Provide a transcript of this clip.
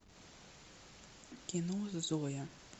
кино зоя